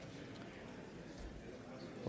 vi